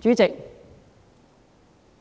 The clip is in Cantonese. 主席，